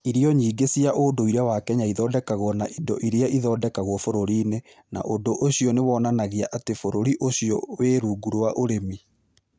Irio nyingĩ cia ũndũire wa Kenya ithondekagwo na indo iria ithondekagwo bũrũri-inĩ, na ũndũ ũcio nĩ wonanagia atĩ bũrũri ũcio wĩ rungu rwa ũrĩmi.